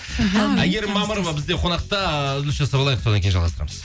әйгерім мамырова бізде қонақта үзіліс жасап алайық содан кейін жалғастырамыз